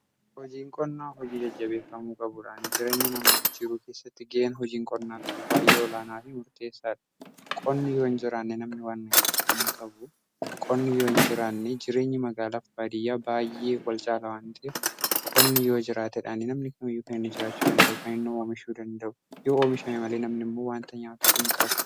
hojiin qonnaa hojii jajjabeeffamuu qabudha. jireenya namaa jijjiiruu keessatti gaheen hojiin qonnaa qabu baay'ee olaanaa fi murteessaa dha. qonni yoo hin jiraanne jireenyi magaalaa fi baadiyyaa baay'ee wal caala. namni kamiyyuu kan inni jiraachuu danda'u, kan oomishuu danda'u, yoo qonni jiraatedha. yoo ooomishame malee namni immoo waan nyaatu hin qabu.